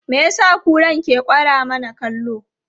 Me ya sa kuran ke kwara mana kallo?